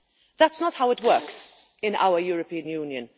That is not how it works in our European Union.